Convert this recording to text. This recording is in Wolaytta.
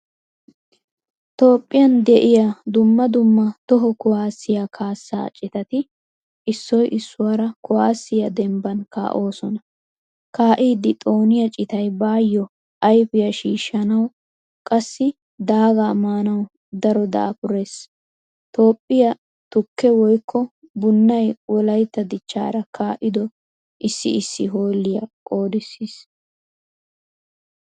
Toophphiyaan de'iyaa dumma dumma toho kuwasiyaa kaasa citati issoy issuwara kuwasiyaa dembban kaosona. Kaidi xooniyaa citay baayo ayfiya shiishanawu qassi daaga maanawu daro dafurees. Toophphiyaa tukke woykko bunay wolaita dichchaara kaido issi issi holiyaa qodisiis.